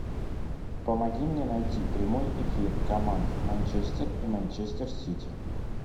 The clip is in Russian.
помоги мне найти прямой эфир команд манчестер и манчестер сити